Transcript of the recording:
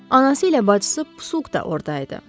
Anası ilə bacısı Pusuk da ordaydı.